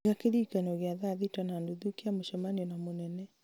iga kĩririkano gĩa thaa thita na nuthu kĩa mũcemanio na mũnene